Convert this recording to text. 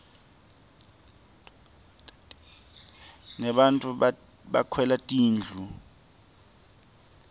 nebattfu bakhelwa tindlu